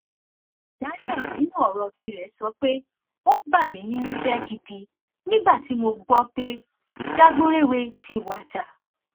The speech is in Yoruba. daniel nínú ọrọ tirẹ sọ pé ó bà mí nínú jẹ gidi nígbà tí mo gbọ pé dagburèwe ti wájà